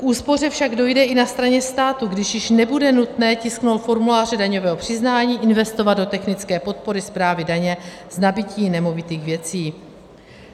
K úspoře však dojde i na straně státu, kdy již nebude nutné tisknout formuláře daňového přiznání, investovat do technické podpory správy daně z nabytí nemovitých věcí.